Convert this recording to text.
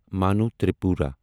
مانو تریپورا